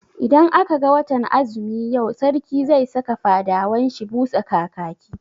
Idan aka ga watan azumi yau, Sarki zai saka fadawan shi busa kakaki.